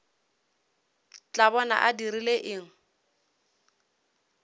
tla bona a dirile eng